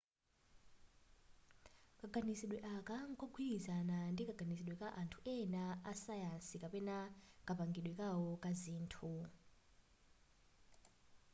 kaganizide aka nkogwilizana ndi kaganizidwe ka anthu ena a sayansi kapena kapangidwe kao ka zinthu